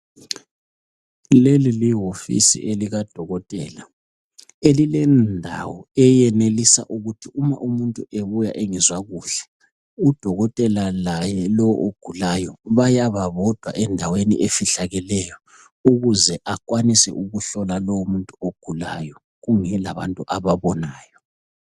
Leli liwofisi likadokotela elilendawo eyenelisa ukuthi uma umuntu ebuya engezwa kuhle ,udokotela laye lo ogulayo bayaba bodwa endaweni efihlakeleyo ukuze akwanise ukuhlola lowo muntu ogulayo kungela bantu ababonayo.